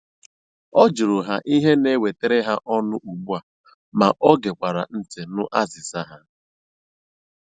Ọ jụrụ ha ihe na-ewetara ha ọnụ ugbu a ma ọ gekwara ntị nụ azịza ha.